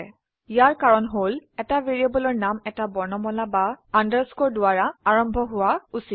ইয়াৰ কাৰন হল এটা ভ্যাৰিয়েবলৰ নাম এটা বৰ্ণমালা বা আন্ডাৰস্কোৰ দ্বাৰা আৰম্ভ হোৱা উচিত